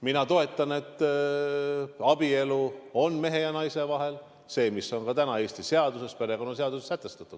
Mina toetan seda, et abielu on mehe ja naise vahel, nagu on täna Eesti perekonnaseaduses sätestatud.